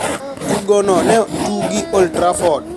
Tugo no ne tugi e old Trafford